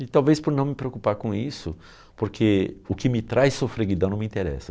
E talvez por não me preocupar com isso, porque o que me traz sofreguidão não me interessa.